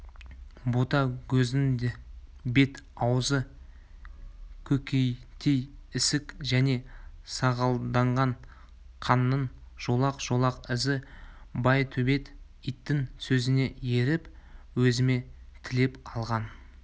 ботагөздің бет-аузы көнектей ісік және сағалданған қанның жолақ-жолақ ізі байтөбет иттің сөзіне еріп өзіме тілеп алған